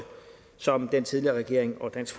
som den tidligere regering og dansk